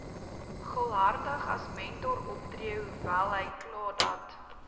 gul hartigasmentoroptree hoewelhykladat